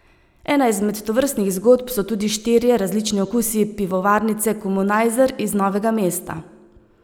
Ena izmed tovrstnih zgodb so tudi štirje različni okusi pivovarnice Komunajzer iz Novega mesta.